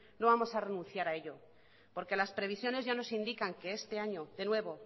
no vamos a renunciar a ello porque las previsiones ya nos indican que este año de nuevo